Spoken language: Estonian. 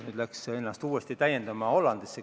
Nüüd läks ta ennast uuesti täiendama Hollandisse.